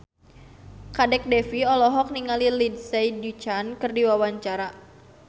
Kadek Devi olohok ningali Lindsay Ducan keur diwawancara